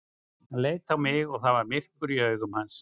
Hann leit á mig og það var myrkur í augum hans.